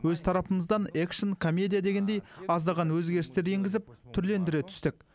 өз тарапымыздан экшн комедия дегендей аздаған өзгерістер енгізіп түрлендіре түстік